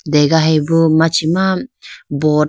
degahiya bo machima boat --